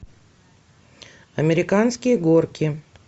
американские горки